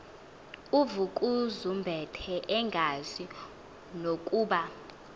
uvukuzumbethe engazi nokuba